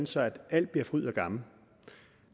så alt bliver fryd og gammen